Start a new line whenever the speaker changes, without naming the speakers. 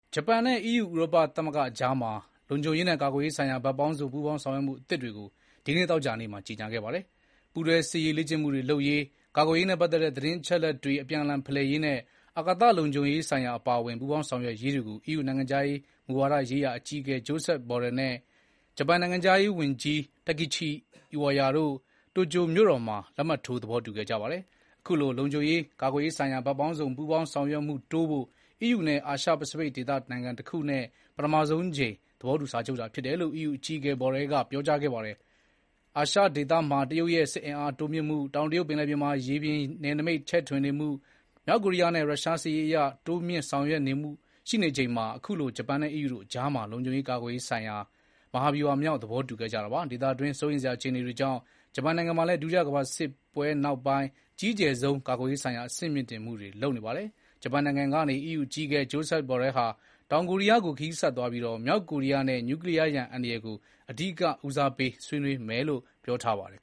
ဂျပန်နဲ့ EU ဥရောပသမဂ္ဂတို့ ကြား လုံခြုံရေးနဲ့ ကာကွယ်ရေးဆိုင်ရာ ဘက်ပေါင်းစုံ ပူးပေါင်းဆောင်ရွက်မှုသစ်တွေကို ဒီနေ့ သောကြာနေ့မှာ ကြေညာခဲ့ပါတယ်။ ပူးတွဲစစ်ရေးလေ့ကျင့်မှုတွေလုပ်ရေး၊ ကာကွယ်ရေးနဲ့ပတ်သက်တဲ့ သတင်းအချက်အလက်တွေ အပြန်အလှန် ဖလှယ်ရေးနဲ့၊ အာကာသလုံခြုံရေးဆိုင်ရာ အပါအဝင် ပူးပေါင်းဆောင်ရွက်ရေးတွေကို EU နိုင်ငံခြားမူဝါဒရေးရာ အကြီးအကဲ Josep Borrell နဲ့ ဂျပန်နိုင်ငံခြားဝန်ကြီး Takeshi Iwaya တို့ Tokyo မြို့တော်မှာ လက်မှတ်ထိုး သဘောတူခဲ့ကြပါတယ်။ အခုလို လုံခြုံရေး၊ ကာကွယ်ရေးဆိုင်ရာ ဘက်ပေါင်းစုံ ပူးပေါင်းဆောင်ရွက်မှုတိုးဖို့ EU နဲ့ အာရှ ပိစိဖိတ်ဒေသနိုင်ငံတခုနဲ့ ပထမဆုံးအကြိမ် သဘောတူစာချုပ်တာဖြစ်တယ်လို့ EU အကြီးအကဲ Borrell ကပြောကြားခဲ့ပါတယ်။ အာရှဒေသမှာ တရုတ်ရဲ့ စစ်အင်အားတိုးမြှင့်မှု၊ တောင်တရုတ်ပင်လယ်ထဲမှာ ရေပြင်နယ်နိမိတ် ချဲ့ထွင်နေမှု၊ မြောက်ကိုရီးယားနဲ့ ရုရှား စစ်ရေးအရ တိုးမြှင့်ဆောင်ရွက်မှုတွေ ရှိနေချိန်မှာ ခုလို ဂျပန်နဲ့ EU တို့ ကြားမှာ လုံခြုံရေး ကာကွယ်ရေးဆိုင်ရာ မဟာဗျူဟာမြောက် သဘောတူခဲ့ကြတာပါ။ ဒေသတွင်း စိုးရိမ်စရာအခြေအနေတွေကြောင့် ဂျပန်နိုင်ငံမှာလည်း ဒုတိယကမ္ဘာစစ်ပွဲနောက်ပိုင်း အကြီးကျယ်ဆုံး ကာကွယ်ရေးဆိုင်ရာ အဆင့်မြှင့်တင်မှုတွေ လုပ်နေပါတယ်။ ဂျပန်နိုင်ငံကနေ EU အကြီးအကဲ Josep Borrell ဟာ တောင်ကိုရီးယားကို ခရီးဆက်သွားပြီး မြောက်ကိုရီယားနဲ့ Nuclear ရန်အန္တရာယ်ကို အဓိက ဦးစားပေးဆွေးနွေးမယ်လို့ ပြောထားပါတယ်